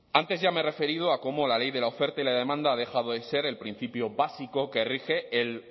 antes ya me he referido a como la ley de la oferta y la demanda ha dejado de ser el principio básico que rige el